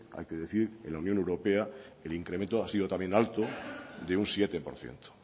hay que decir en la unión europea el incremento ha sido también alto de un siete por ciento